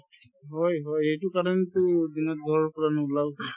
হয় হয় সেইটো কাৰণেতো দিনত ঘৰৰ পৰা নোলাও ing